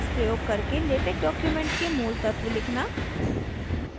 texworks प्रयोग करके latex document के मूल तत्व लिखना